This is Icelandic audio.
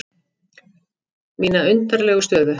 Mína undarlegu stöðu.